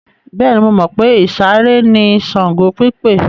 Bẹ́ẹ̀ni, mo mọ̀ pé ìsàré ni Ṣàngó pípè.